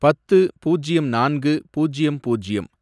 பத்து, பூஜ்யம் நான்கு, பூஜ்யம் பூஜ்யம்